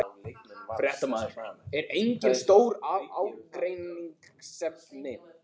Fréttamaður: Eru engin stór ágreiningsefni?